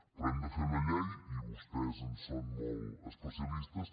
però hem de fer una llei i vostès en són molt especialistes